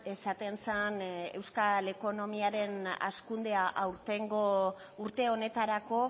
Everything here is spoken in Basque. esaten zen euskal ekonomiaren hazkundea aurtengo urte honetarako